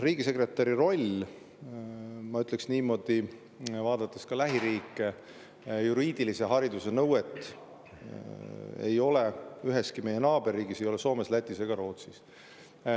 Riigisekretäri rolli puhul – ma ütleks niimoodi, vaadates ka lähiriike – juriidilise hariduse nõuet ei ole üheski meie naaberriigis, ei ole Soomes, Lätis ega Rootsis.